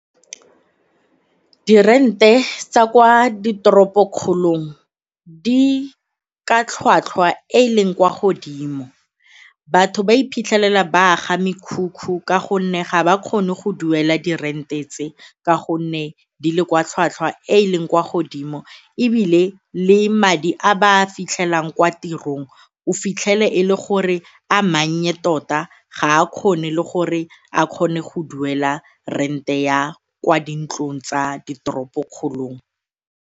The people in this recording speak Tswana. Dirente tsa kwa ditoropong dikgolong di ka tlhwatlhwa e e leng kwa godimo. Batho ba iphitlhela ba a ga mekhukhu ka gonne ga ba kgone go duela di rent e tse ka gonne di le kwa tlhwatlhwa e e leng kwa godimo ebile le madi a ba a fitlhelang kwa tirong o fitlhele e le gore a mannye tota ga a kgone le gore a kgone go duela rente ya kwa dintlong tsa diteropokgolong.